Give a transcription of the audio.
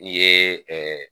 N ye ɛɛ